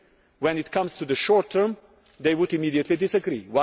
When it comes to the short term they would immediately disagree.